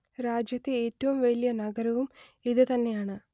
രാജ്യത്തെ ഏറ്റവും വലിയ നഗരവും ഇത് തന്നെയാണ്